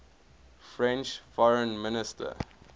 french foreign minister